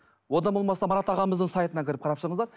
одан болмаса марат ағамыздың сайтына кіріп қарап шығыңыздар